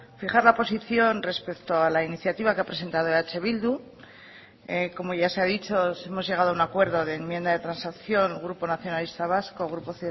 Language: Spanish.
fijar la posición respecto a la iniciativa que ha presentado eh bildu como ya se ha dicho hemos llegado a un acuerdo de enmienda de transacción grupo nacionalista vasco grupo